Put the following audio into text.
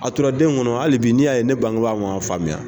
A tora den kɔnɔ hali bi n'i' ye ne bangeba ma faamuya.